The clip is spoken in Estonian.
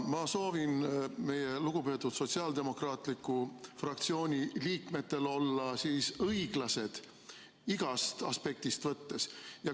Ma soovitan meie lugupeetud sotsiaaldemokraatliku fraktsiooni liikmetel olla õiglased igast aspektist lähtudes.